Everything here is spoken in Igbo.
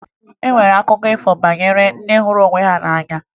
E nwere akụkọ ifo banyere ndị hụrụ onwe ha n'anya